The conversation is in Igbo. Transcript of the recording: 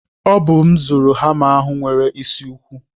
Ọ bụ m zụrụ hama ahụ nwere isi ukwu.